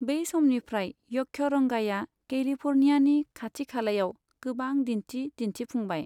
बे समनिफ्राय यक्षरंगाया कैलिफोर्नियानि खाथि खालायाव गोबां दिन्थि दिन्थिफुंबाय।